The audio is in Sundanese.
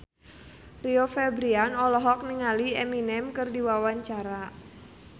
Rio Febrian olohok ningali Eminem keur diwawancara